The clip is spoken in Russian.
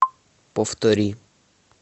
повтори